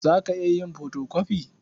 Za ka iya yin fotokofi?